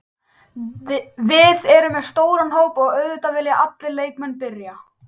Við erum með stóran hóp og auðvitað vilja allir leikmenn byrja.